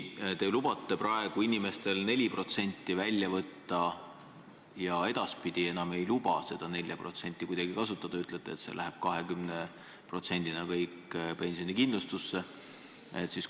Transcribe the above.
Te lubate praegu inimestel 4% välja võtta ja edaspidi enam ei luba seda 4% kuidagi kasutada, ütlete, et see läheb 20%-na kõik pensionikindlustusse.